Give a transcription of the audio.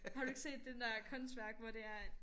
Har du ikke set den der kunstværk hvor det er at